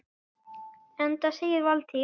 Enda segir Valtýr